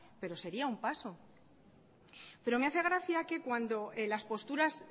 pero sería un paso pero me hace gracia que cuando las posturas